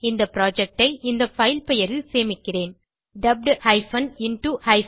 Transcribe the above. இந்த புரொஜெக்ட் ஐ இந்த பைல் பெயரில் சேமிக்கிறேன் Dubbed into Hindi